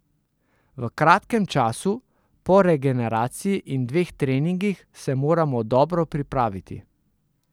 V kratkem času, po regeneraciji in dveh treningih, se moramo dobro pripraviti.